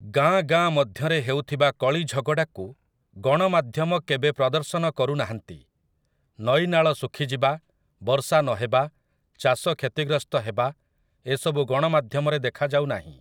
ଗାଁ ଗାଁ ମଧ୍ୟରେ ହେଉଥିବା କଳିଝଗଡ଼ାକୁ ଗଣମାଧ୍ୟମ କେବେ ପ୍ରଦର୍ଶନ କରୁନାହାନ୍ତି । ନଈନାଳ ଶୁଖିଯିବା, ବର୍ଷା ନହେବା, ଚାଷ କ୍ଷତିଗ୍ରସ୍ତ ହେବା ଏସବୁ ଗଣମାଧ୍ୟମରେ ଦେଖାଯାଉନାହିଁ ।